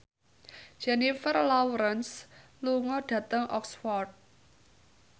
Jennifer Lawrence lunga dhateng Oxford